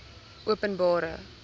openbare